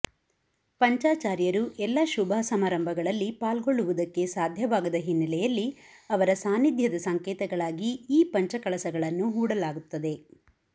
ಪಂಚಾಚಾರ್ಯರು ಎಲ್ಲ ಶುಭ ಸಮಾರಂಭಗಳಲ್ಲಿ ಪಾಲ್ಗೊಳ್ಳುವುದಕ್ಕೆ ಸಾಧ್ಯವಾಗದ ಹಿನ್ನಲೆಯಲ್ಲಿ ಅವರ ಸಾನಿಧ್ಯದ ಸಂಕೇತಗಳಾಗಿ ಈ ಪಂಚಕಳಸಗಳನ್ನು ಹೂಡಲಾಗುತ್ತದೆ